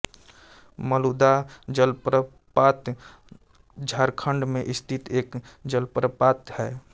मलुदाह जलप्रपात झारखंड में स्थित एक जलप्रपात है